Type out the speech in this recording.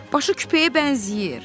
Başı küpəyə bənzəyir.